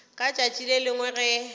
ka tšatši le lengwe ge